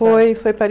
Foi, foi